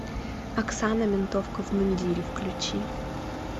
оксана ментовка в мундире включи